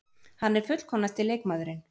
Hann er fullkomnasti leikmaðurinn.